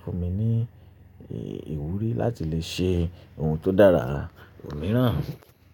fún mi ní ìwúrí láti lè ṣe ohun tó dára mìíràn.